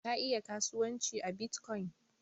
Ka iya kasuwanci a Bitcoin?